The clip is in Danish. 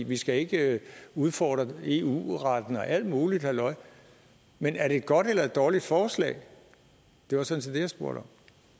vi skal ikke udfordre eu retten og alt muligt halløj men er det et godt eller dårligt forslag det var sådan jeg spurgte